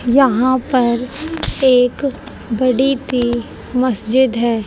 यहां पर एक बड़ी ती मस्जिद है।